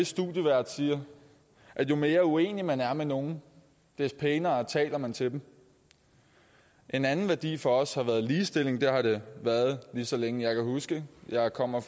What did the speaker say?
studievært siger at jo mere uenig man er med nogen desto pænere taler man til dem en anden værdi for os har været ligestilling det har det været lige så længe jeg kan huske jeg kommer